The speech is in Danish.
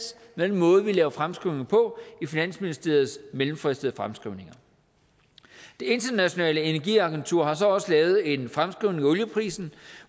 med den måde vi laver fremskrivninger på i finansministeriets mellemfristede fremskrivninger det internationale energiagentur har så også lavet en fremskrivning af olieprisen